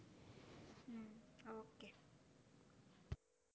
હમ okay